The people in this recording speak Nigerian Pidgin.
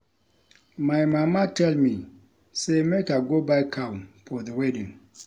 My mama tell me say make I go buy cow for the wedding